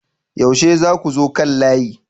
yaushe zakuzo kan layi?